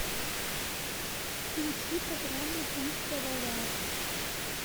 включи программу пусть говорят